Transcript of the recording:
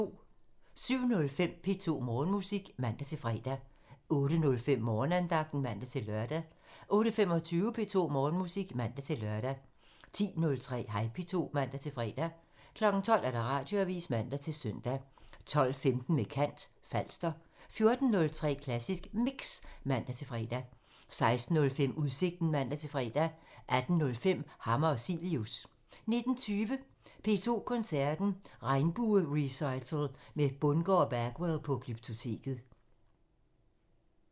07:05: P2 Morgenmusik (man-fre) 08:05: Morgenandagten (man-lør) 08:25: P2 Morgenmusik (man-lør) 10:03: Hej P2 (man-fre) 12:00: Radioavisen (man-søn) 12:15: Med kant – Falster 14:03: Klassisk Mix (man-fre) 16:05: Udsigten (man-fre) 18:05: Hammer og Cilius (man) 19:20: P2 Koncerten – Regnbue-recital med Bundgaard og Bagwell på Glyptoteket